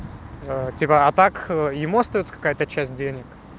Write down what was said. ээ типа а так ему остаётся какая-то часть денег